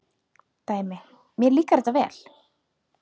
Dæmi: Mér líkar þetta vel.